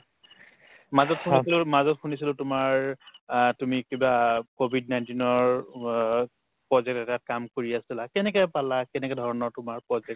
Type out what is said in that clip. মাজত শুনিছিলো মাজত শুনিছিলো তোমাৰ অ তুমি কিবা কভিড nineteen ৰ work project এটাত কাম কৰি আছিলা কেনেকে পালা কেনেকুৱা ধৰণৰ তোমাৰ project